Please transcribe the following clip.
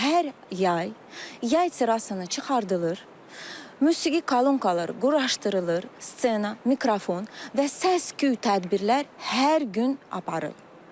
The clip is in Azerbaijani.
Hər yay, yay sırasını çıxardılır, musiqi kalonkaları quraşdırılır, ssenana, mikrofon və səs-küy tədbirlər hər gün aparılır.